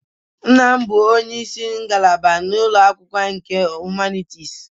Nna m bụ onye isi ngalaba na ụlọ akwụkwọ nke Humanities